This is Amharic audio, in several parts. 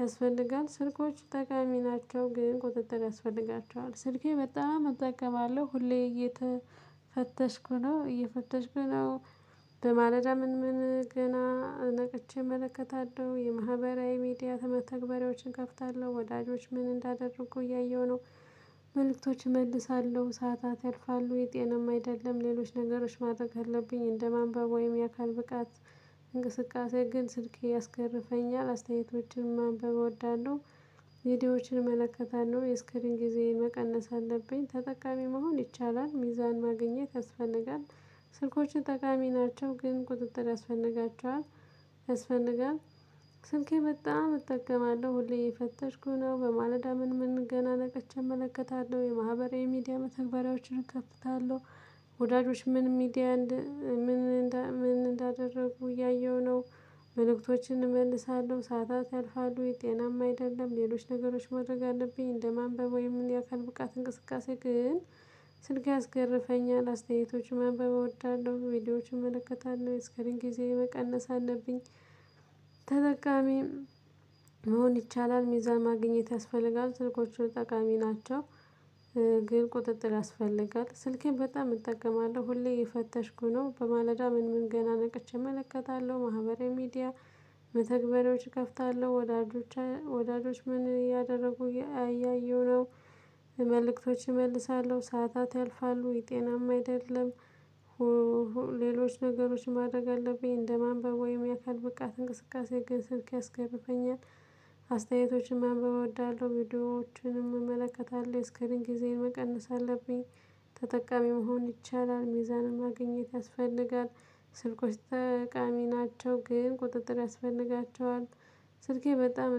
ያስፈልጋል። ስልኮች ጠቃሚ ናቸው ግን ቁጥጥር ያስፈልጋቸዋል። ስልኬ በጣም እጠቀማለሁ ሁሌ እየተፈተሽኩ ነው እየፈተሽኩ ነው። በማለዳ ምን ምን ገና ነቅቼ እመለከታለሁ የማህበራዊ ሚዲያ መተግበሪያዎችን እከፍታለሁ። ወዳጆች ምን እንዳደረጉ እያየሁ ነው። መልእክቶች እመልሳለሁ ሰዓታት ያልፋሉ ይህ ጤናማ አይደለም። ሌሎች ነገሮች ማድረግ አለብኝ እንደማንበብ ወይም የአካል ብቃት እንቅስቃሴ ግን ስልኬ ያስገርፈኛል። አስተያየቶችን ማንበብ እወዳለሁ ሚዲያዎችን እመለከታለሁ የስክሪን ጊዜ መቀነስ አለብኝ ተጠቃሚ መሆን ይቻላል ሚዛን ማግኘት ያስፈልጋል። ስልኮችን ጠቃሚ ናቸው ግን ቁጥጥር ያስፈልጋቸዋል። ያስፈልጋል። ስልኬ በጣም እጠቀማለሁ ሁሌ እየፈተሽኩ ነው በማለዳ ምን ምን ገና ነቅቼ እመለከታለሁ የማህበራዊ ሚዲያ መተግበሪያዎችን እከፍታለሁ። ወዳጆች ምን ሚዲያ ምን ምን እንዳደረጉ እያየሁ ነው። መልእክቶችን እመልሳለሁ ሰዓታት ያልፋሉ ጤናማ አይደለም። ሌሎች ነገሮች ማድረግ አለብኝ እንደማንበብ ወይም የአካል ብቃት እንቅስቃሴ ግን ስልኬ ያስገርፈኛል። አስተያየቶች ማንበብ እወዳለሁ ቪዲዮዎችን እመለከታለሁ የእስክሪን ጊዜየን መቀነስ አለብኝ። ተጠቃሚም መሆን ይቻላል። ሚዛን ማግኘት ያስፈልጋል። ስልኮች ጠቃሚ ናቸው። ግን ቁጥጥር ያስፈልጋል ስልኬን በጣም እጠቀማለሁ ሁሌ እየፈተሽኩ ነው በማለዳ ምን ምን ገና ነቀች እመለከታለሁ ማህበራዊ ሚዲያ መተግበሪያዎች እከፍታለሁ ወዳጆች ወዳጆች ምን እያደረጉ እያየሁ ነው። መልእክቶች እመልሳለሁ ሰዓታት ያልፋሉ ይህ ጤናማ አይደለም። ሌሎች ነገሮች ማድረግ አለብኝ እንደማንበብ ወይም የአካል ብቃት እንቅስቃሴ ግን ስልኬ ያስገርፈኛል። አስተያየቶችን ማንበብ እወዳለሁ ቪዲዮዎችን እመለከታለሁ እስከምን ጊዜ መቀነስ አለብኝ። ተጠቃሚ መሆን ይቻላል ሚዛንም ማግኘት ያስፈልጋል። ስልኮች ጠቃሚ ናቸው ግን ቁጥጥር ያስፈልጋቸዋል። ስልኬ በጣም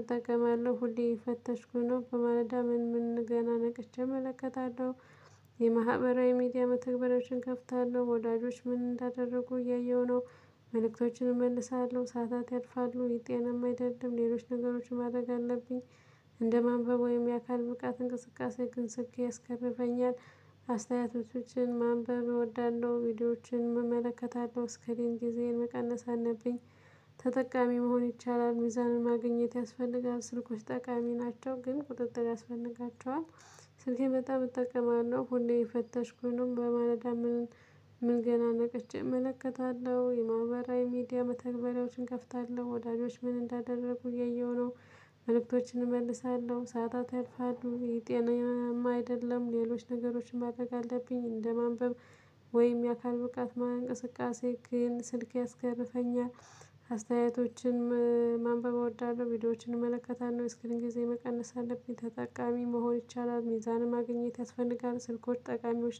እጠቀማለሁ ሁሌ እየፈተሽኩ ነው በማለዳ ምን ምን ገና ነቅቼ እመለከታለሁ። የማህበራዊ ሚዲያ መተግበሪያዎችን እከፍታለሁ ወዳጆች ምን እንዳደረጉ እያየሁ ነው። መልእክቶችን እመልሳለሁ ሰዓታት ያልፋሉ ይህ ጤናማ አይደለም። ሌሎች ነገሮችን ማድረግ አለብኝ። እንደ ማንበብ ወይም የአካል ብቃት እንቅስቃሴ ግን ስልኬ ያስገርፈኛል። አስተያየቶችን ማንበብ እወዳለሁ ቪዲዮዎችን እመለከታለሁ እስክሪን ጊዜዬን መቀነስ አለብኝ። ተጠቃሚ መሆን ይቻላል ሚዛንን ማግኘት ያስፈልጋል። ስልኮች ጠቃሚ ናቸው ግን ቁጥጥር ያስፈልጋቸዋል። ስልኬ በጣም እጠቀማለሁ ሁሌ እየፈተሽኩኝ ነው በማለዳ ምን ምን ገና ነቅቼ እመለከታለሁ የማህበራዊ ሚዲያ መተግበሪያዎችን እከፍታለሁ ወዳጆች ምን እንዳደረጉ እያየሁ ነው። መልእክቶችን እመልሳለሁ ሰዓታት ያልፋሉ ይሄ ጤናማ አይደለም። ሌሎች ነገሮችን ማድረግ አለብኝ እንደማንበብ ወይም የአካል ብቃት እንቅስቃሴ ግን ስልኬ ያስገርፈኛል። አስተያየቶችን ማንበብ እወዳለሁ ቪዲዮዎችን እመለከታለሁ እስክሪን ጊዜ መቀነስ አለብኝ። ተጠቃሚ መሆን ይቻላል ሚዛንም ማግኘት ያስፈልጋል። ስልኮች ጠቃሚዎች